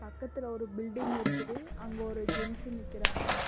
பக்கத்துல ஒரு பில்டிங் இருக்குது அங்க ஒரு ஜென்ஸ் நிக்கறாங்க.